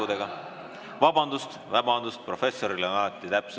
Professoril on alati täpsed detailid: täna kuue tunni ja 51 minuti pärast ootame teid kõiki siia tagasi.